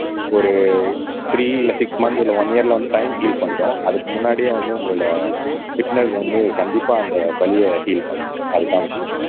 ஒரு த்ரீ இல்லை six months இல்ல ஒன் இயர்ல வந்து டைம் ஹீல் பண்ணிடும் அதுக்கு முன்னாடியே வந்து உங்களோட பிட்னெஸ் வந்து கண்டிப்பா அந்த வலியை ஹீல் பண்ணிடும் அதுதான் விஷயம்